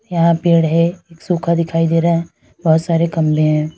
यहां पेड़ है एक सुख दिखाई दे रहा है बहोत सारे गमले हैं।